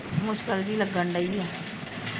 ਮੁਸ਼ਕਿਲ ਜਹੀ ਲੱਗਣ ਡਈ ਆ